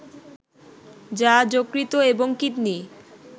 যা যকৃত এবং কিডনি